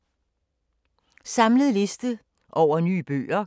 Samlet liste over nye bøger